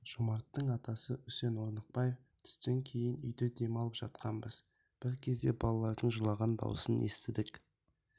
жомарттың атасы үсен орнықбаев түстен кейін үйде дем алып жатқанбыз бір кезде балалардың жылаған даусын естідік